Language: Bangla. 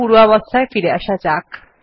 পূর্বাবস্থায় ফিরে আসা যাক